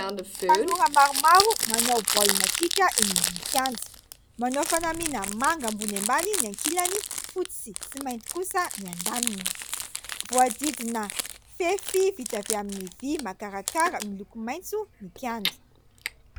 Tanora maromaro manao baolina kitra eny ambony kianja. Manao fanamiana manga ambony ambany ny ankilany, fotsy sy mainty kosa ny andaniny. Voahodidina fefy vita avy amin'ny vy makarakara miloko maitso ny kianja.